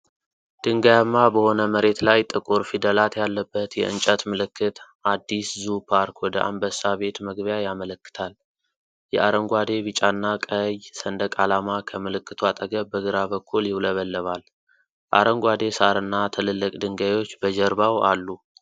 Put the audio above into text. ድንጋያማ በሆነ መሬት ላይ፣ ጥቁር ፊደላት ያለበት የእንጨት ምልክት አዲስ ዙ ፓርክ ወደ አንበሳ ቤት መግቢያ ያመለክታል። የአረንጓዴ፣ ቢጫና ቀይ ሰንደቅ ዓላማ ከምልክቱ አጠገብ በግራ በኩል ይውለበለባል። አረንጓዴ ሣርና ትልልቅ ድንጋዮች በጀርባው አሉ።